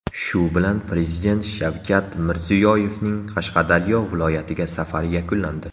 Shu bilan Prezident Shavkat Mirziyoyevning Qashqadaryo viloyatiga safari yakunlandi.